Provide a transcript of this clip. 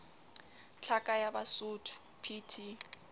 tlhaka ya basotho p t